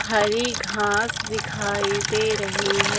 हरी घास दिखाई दे रही है।